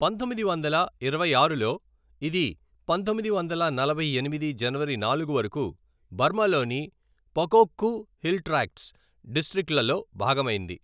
పంతొమ్మిది వందల ఇరవై ఆరులో, ఇది పంతొమ్మిది వందల నలభై ఎనిమిది జనవరి నాలుగు వరకు బర్మాలోని పకోక్కు హిల్ ట్రాక్ట్స్ డిస్ట్రిక్ట్లలో భాగమైంది.